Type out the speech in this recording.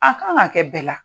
A kan ka kɛ bɛɛ la.